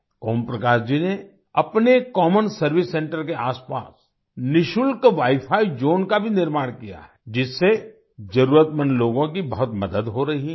ओम प्रकाश जी ने अपने common service centre के आसपास निशुल्क वाइफाई ज़ोन का भी निर्माण किया है जिससे जरूरतमंद लोगों की बहुत मदद हो रही है